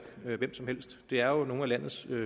hvem som helst det er jo nogle af landets